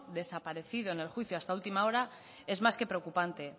desaparecido en el juicio hasta última hora es más que preocupante